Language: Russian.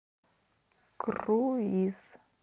круиз